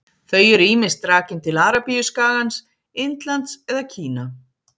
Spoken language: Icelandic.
Þau eru ýmist rakin til Arabíuskagans, Indlands eða Kína.